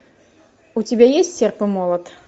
у тебя есть серп и молот